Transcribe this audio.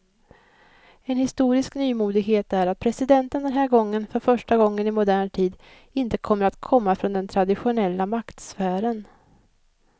En historisk nymodighet är att presidenten den här gången för första gången i modern tid inte kommer att komma från den traditionella maktsfären.